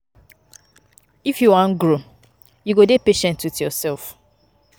If you wan grow, you go dey patient wit yoursef.